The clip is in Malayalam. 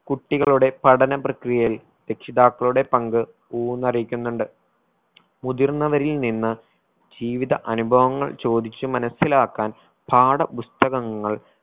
കുട്ടികളുടെ പഠന പ്രക്രിയയിൽ രക്ഷിതാക്കളുടെ പങ്ക് ഊന്നർഹിക്കുന്നുണ്ട് മുതിർന്നവരിൽ നിന്ന് ജീവിത അനുഭവങ്ങൾ ചോദിച്ചു മനസിലാക്കാൻ പാഠപുസ്തകങ്ങൾ